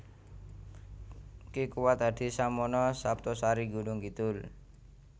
Ki Kuwat Hadisamono Saptosari Gunungkidul